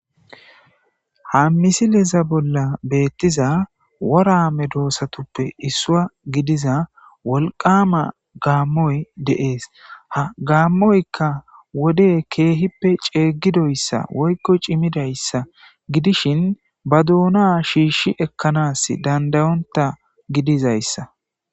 ha misileza bolla beettiza worame doossatuppe issua gidiza wolqama gaammoy deees ha gaammoykka wode keehippe ceegidoyssa woykko cimidayssa gidishin ba duona shiishshi ekkanas dandayonta gidizayssa